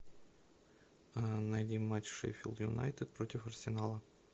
найди матч шеффилд юнайтед против арсенала